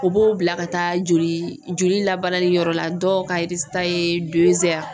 U b'o bila ka taa joli joli labarani yɔrɔ la dɔw ka ye